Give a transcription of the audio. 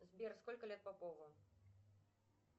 сбер сколько лет попову